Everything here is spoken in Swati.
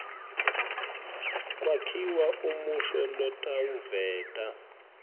kwakhiwa umusho lotawuveta